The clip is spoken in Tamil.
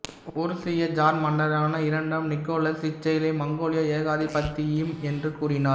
உருசிய ஜார் மன்னரான இரண்டாம் நிக்கோலாஸ் இச்செயலை மங்கோலிய ஏகாதிபத்தியம் என்று கூறினார்